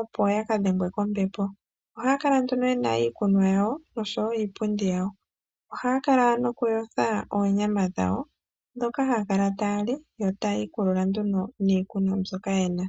opo yaka dhengwe kombepo, ohaya kala nduno yena iikunwa yawo oshowo iipundi yawo ohaya kala noku yotha oonyama dhawo dhoka haya kala taya li yo tayi ikulula nduno niikunwa mbyoka yena.